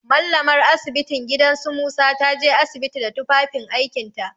Mallamar asibitin gidan su Musa ta je asibiti da tufafin aikinta.